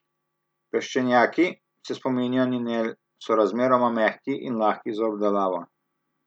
Peščenjaki, se spominja Ninel, so razmeroma mehki in lahki za obdelavo.